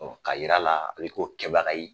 K'a jir'a la a ye ko kɛbaga ye